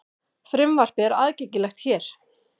Frumvarpið er aðgengilegt hér